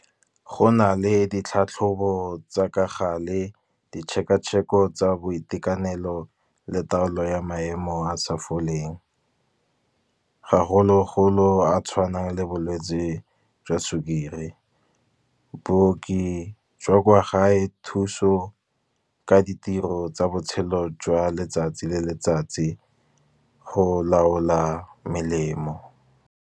Go na le ditlhatlhobo tsa ka gale ditšhekatšheko tsa boitekanelo le taolo ya maemo a sa foleng. Gagologolo a tshwanang le bolwetsi jwa sukiri. Booki jwa kwa gae thuso ka ditiro tsa botshelo jwa letsatsi le letsatsi go laola melemo.